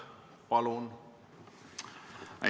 Palun!